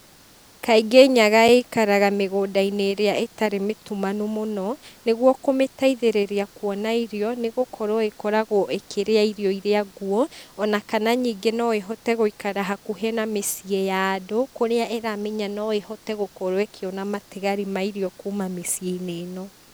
Kaingĩ nyaga ĩikaraga mĩgũnda-inĩ ĩrĩa ĩtarĩ mĩtumanu mũno, nĩguo kũmĩteithĩrĩria kuona irio, nĩgũkorwo ĩkoragwo ĩkĩrĩa irio iria nguo, ona kana ningĩ no ĩhote gũĩkara hakuhĩ na mĩciĩ ya andũ kũrĩa ĩramenya no ĩhote gũkorwo ĩkĩona matigari ma irio kuma mĩciĩ-inĩ ĩno.